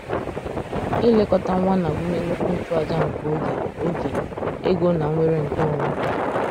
Ilekọta nwa na-agụnye nnukwu nchụaja nke oge, oge, ego, na nnwere nke onwe.